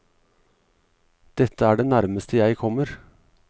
Dette er det nærmeste jeg kommer.